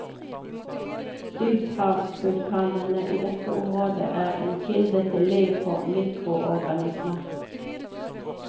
Dyphavsvulkanene i dette området er en kilde til liv for mikroorganismer.